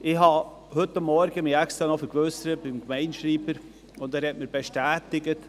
Heute Morgen habe ich mich extra noch beim Gemeindeschreiber vergewissert, und er hat mir Folgendes bestätigt: